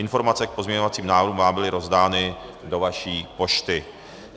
Informace k pozměňovacím návrhům vám byly rozdány do vaší pošty.